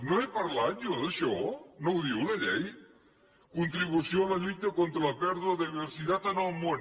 no he parlat jo d’això no ho diu la llei contribució a la lluita contra la pèrdua de biodiversitat en el món